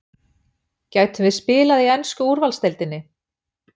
Gætum við spila í ensku úrvalsdeildinni?